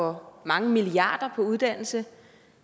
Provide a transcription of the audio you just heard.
for mange milliarder kroner på uddannelse